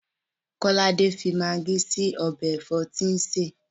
Kọ́lápọ̀ fi magí sí ọbẹ̀ ẹ̀fọ́ tí ń sè.